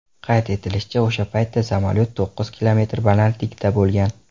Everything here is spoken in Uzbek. Qayd etilishicha, o‘sha paytda samolyot to‘qqiz kilometr balandlikda bo‘lgan.